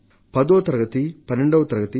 పదో తరగతి 12వ తరగతి